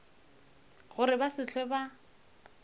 gore ba se hlwe ba